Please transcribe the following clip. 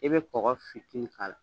I bɛ kɔgɔ fitiini k'a la.